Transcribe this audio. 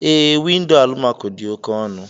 Ee, windo almaco dị oke ọnụ.